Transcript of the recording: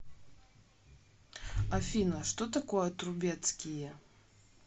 афина что такое трубецкие